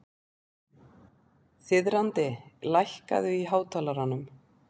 Þiðrandi, lækkaðu í hátalaranum.